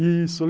Isso...